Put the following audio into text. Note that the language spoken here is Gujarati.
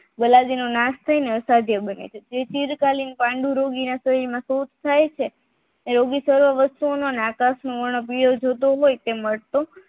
ગલાજીનું નાશ થાયને અસંજય બને છે એ સ્થિરતાની પન્ડુ રોગ તે મળતું